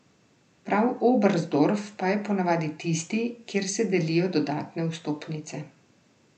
Prav Oberstdorf pa je ponavadi tisti, kjer se delijo dodatne vstopnice.